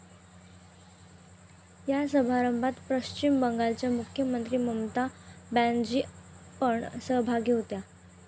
या समारंभात पश्चिम बंगालच्या मुख्यमंत्री ममता बॅनर्जी पण सहभागी होत्या.